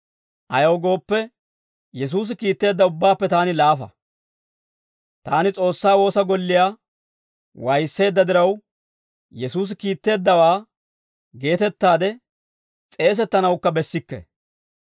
Ayaw gooppe, Yesuusi kiitteedda ubbaappe taani laafa; taani S'oossaa woosa golliyaa waayisseedda diraw, Yesuusi kiitteeddawaa geetettaade s'eesettanawukka bessikke.